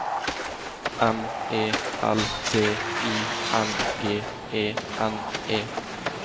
M E L D I N G E N E